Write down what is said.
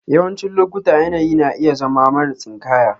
Yawancin lokuta yanayi na iya zama mara tsinkaya.